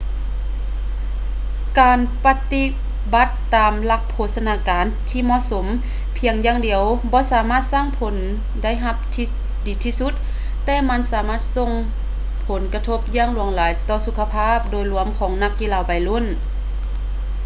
ການປະຕິບັດຕາມຫຼັກໂພຊະນາການທີ່ເໝາະສົມພຽງຢ່າງດຽວບໍ່ສາມາດສ້າງຜົນໄດ້ຮັບທີ່ດີທີ່ສຸດ ແຕ່ມັນສາມາດສົ່ງຜົນກະທົບຢ່າງຫຼວງຫຼາຍຕໍ່ສຸຂະພາບໂດຍລວມຂອງນັກກິລາໄວໜຸ່ມ